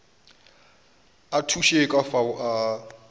a thuše ka fao a